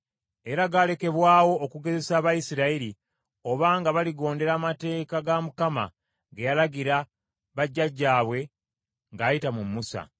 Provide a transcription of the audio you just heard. Era gaalekebwawo okugezesa Abayisirayiri obanga baligondera amateeka ga Mukama ge yalagira bajjajjaabwe ng’ayita mu Musa.